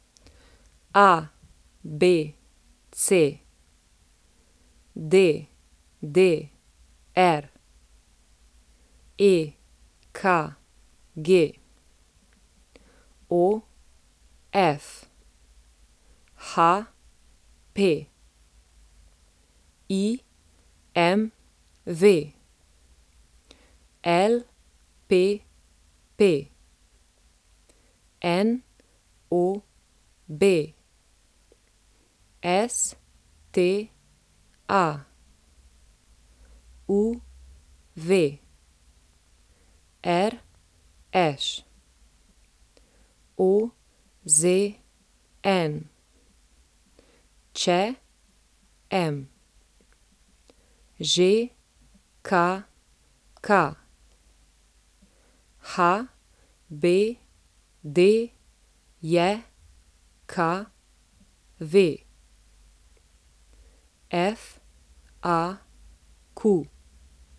ABC, DDR, EKG, OF, HP, IMV, LPP, NOB, STA, UV, RŠ, OZN, ČM, ŽKK, HBDJKV, FAQ.